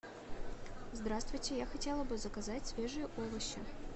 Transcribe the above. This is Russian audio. здравствуйте я хотела бы заказать свежие овощи